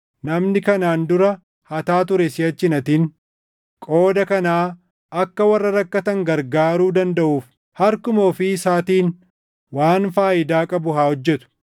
Namni kanaan dura hataa ture siʼachi hin hatin; qooda kanaa akka warra rakkatan gargaaruu dandaʼuuf harkuma ofii isaatiin waan faayidaa qabu haa hojjetu.